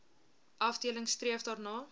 afdeling streef daarna